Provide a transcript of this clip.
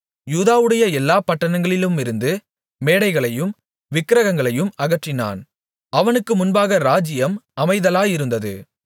யூதாவுடைய எல்லாப் பட்டணங்களிலுமிருந்து மேடைகளையும் விக்கிரகங்களையும் அகற்றினான் அவனுக்கு முன்பாக ராஜ்ஜியம் அமைதலாயிருந்தது